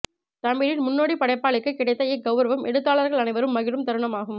தமிழின் முன்னோடி படைப்பாளிக்கு கிடைத்த இக்கௌரவம் எழுத்தாளர்கள் அனைவரும் மகிழும் தருணமாகும்